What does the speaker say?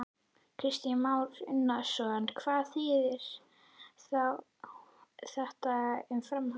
Kristján Már Unnarsson: Hvað þýðir þá þetta um framhaldið?